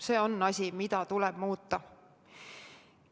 See on asi, mida tuleb muuta.